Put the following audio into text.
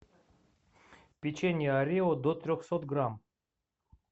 печенье орио до трехсот грамм